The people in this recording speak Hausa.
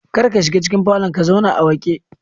Kar ka shiga cikin falon ka zauna a wake